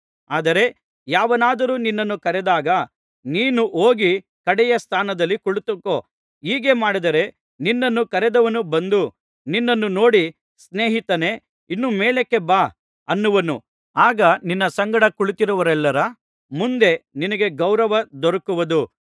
ಆದರೆ ಯಾವನಾದರೂ ನಿನ್ನನ್ನು ಕರೆದಾಗ ನೀನು ಹೋಗಿ ಕಡೆಯ ಸ್ಥಾನದಲ್ಲಿ ಕುಳಿತುಕೋ ಹೀಗೆ ಮಾಡಿದರೆ ನಿನ್ನನ್ನು ಕರೆದವನು ಬಂದು ನಿನ್ನನ್ನು ನೋಡಿ ಸ್ನೇಹಿತನೇ ಇನ್ನೂ ಮೇಲಕ್ಕೆ ಬಾ ಅನ್ನುವನು ಆಗ ನಿನ್ನ ಸಂಗಡ ಕುಳಿತಿರುವವರೆಲ್ಲರ ಮುಂದೆ ನಿನಗೆ ಗೌರವ ದೊರಕುವುದು